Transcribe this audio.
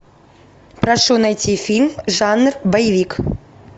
прошу найти фильм жанр боевик